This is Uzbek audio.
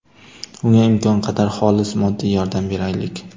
Unga imkon qadar xolis moddiy yordam beraylik!